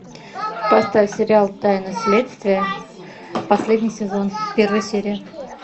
поставь сериал тайны следствия последний сезон первая серия